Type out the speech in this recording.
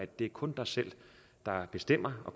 det er kun dig selv der bestemmer og